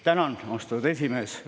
Tänan, austatud esimees!